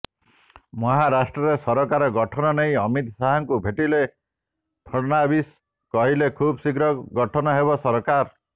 ମହାରାଷ୍ଟ୍ରରେ ସରକାର ଗଠନ ନେଇ ଅମିତ ଶାହଙ୍କୁ ଭେଟିଲେ ଫଡନାବିସ୍ କହିଲେ ଖୁବଶୀଘ୍ର ଗଠନ ହେବ ସରକାର